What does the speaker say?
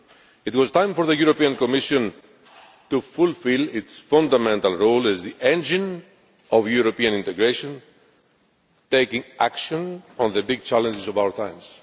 It was time for the Commission to fulfil its fundamental role as the engine of European integration, taking action on the big challenges of our times.